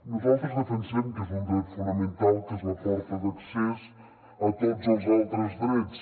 nosaltres defensem que és un dret fonamental que és la porta d’accés a tots els altres drets